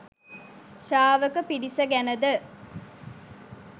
ශ්‍රාවක පිරිස ගැන ද